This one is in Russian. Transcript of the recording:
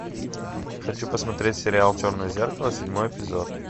хочу посмотреть сериал черное зеркало седьмой эпизод